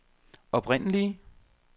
oprindelige